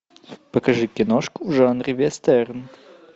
покажи киношку в жанре вестерн